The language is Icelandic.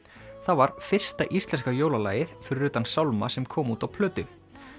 það var fyrsta íslenska jólalagið fyrir utan sálma sem kom út á plötu